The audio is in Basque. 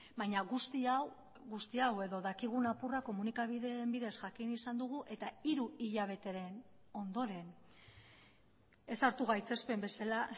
baina guzti hau guzti hau edo dakigun apurra komunikabideen bidez jakin izan dugu eta hiru hilabeteren ondoren ez hartu gaitzespen bezala